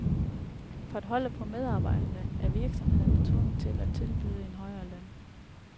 For at holde på medarbejderne er virksomhederne derfor tvunget til at tilbyde en højere løn.